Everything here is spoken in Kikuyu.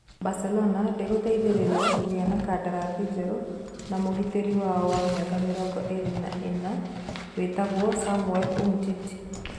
(Mirror) Barcelona ndĩgũteithĩrĩria kũgĩa na kandarathi njerũ na mũgitĩri wao wa mĩaka mĩrongo ĩrĩ na inya wĩtagwo Samuel Umtiti.